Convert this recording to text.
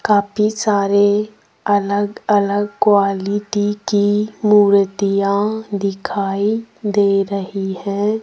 काफी सारे अलग अलग क्वालिटी की मूर्तियां दिखाई दे रही हैं।